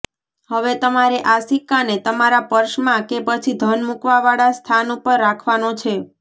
હવે તમારે આ સિક્કાને તમારા પર્સમાં કે પછી ધન મુકવા વાળા સ્થાન ઉપર રાખવાનો છે